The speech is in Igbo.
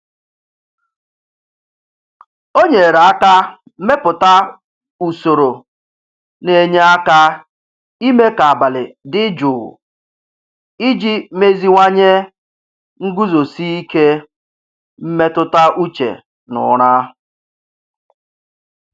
O nyere aka mepụta usoro na-enye aka ime ka abalị dị jụụ iji meziwanye nguzosi ike mmetụtauche na ụra.